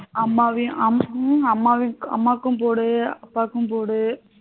அம்மாக்கும் போடு அப்பாக்கும் போடு